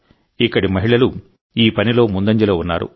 ఇక్కడి మహిళలు ఈ పనిలో ముందంజలో ఉన్నారు